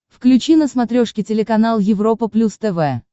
включи на смотрешке телеканал европа плюс тв